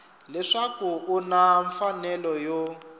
leswaku u na mfanelo yo